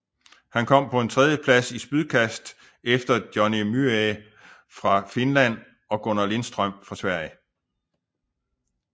Han kom på en tredjeplads i spydkast efter Jonni Myyrä fra Finland og Gunnar Lindström fra Sverige